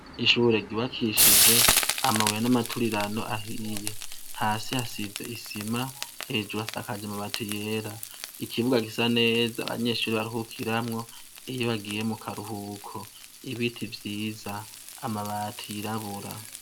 Ishure ryubakishijwe amabuye n'amaturirano ahiye. Hasi hasize isima, hejuru hasakajwe amabati yera. Ikibuga gisa neza abanyeshure baruhukiramwo, iyo bagiye mu karuhuko. Ibiti vyiza, amabati yirabura.